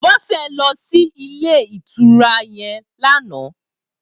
Bose lò si ilé itúrá yèn làná